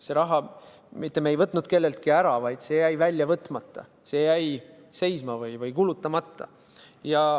Me ei võtnud seda raha kelleltki ära, vaid see jäi välja võtmata, see jäi seisma või kulutamata.